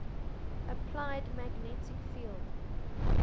applied magnetic field